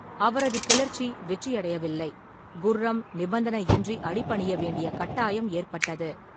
அவரது கிளர்ச்சி வெற்றியடையவில்லை, குர்ரம் நிபந்தனையின்றி அடிபணிய வேண்டிய கட்டாயம் ஏற்பட்டது.